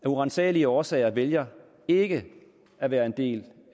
uransagelige årsager vælger ikke at være en del